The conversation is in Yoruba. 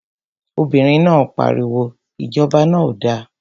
Obìnrin náà pariwo, Ìjọba náà ò da!